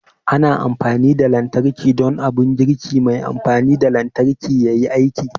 Ana amfani da lantarki don abun girki mai amfani da lantarki yayi aiki